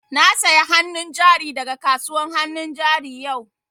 Na saya hannu jari da ga kasuwan hannun jari yau